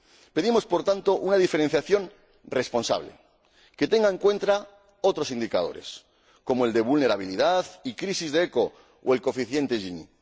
Pedimos, por tanto, una diferenciación responsable que tenga en cuenta otros indicadores, como el de vulnerabilidad y crisis de ECHO o el coeficiente Gini.